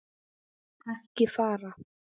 Ekki fara.